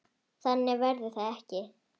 Þannig verður það ekki.